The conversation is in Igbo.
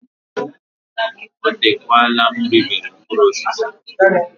Oteekwala m ribere mkpụrụ osisi.